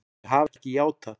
Þau hafa ekki játað.